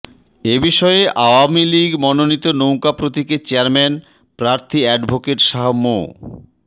এ বিষয়ে আওয়ামী লীগ মনোনীত নৌকা প্রতীকের চেয়ারম্যান প্রার্থী অ্যাডভোকেট শাহ মো